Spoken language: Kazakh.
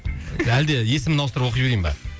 әлде есімін ауыстырып оқи берейін ба